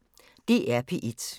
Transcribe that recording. DR P1